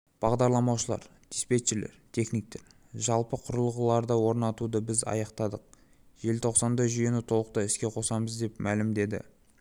бағдарламалаушылар диспетчерлер техниктер жалпы құрылғыларды орнатуды біз аяқтадық желтоқсанда жүйені толықтай іске қосамыз деп мәлімдеді